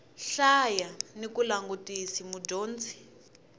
hlaya ni ku langutisa mudyondzi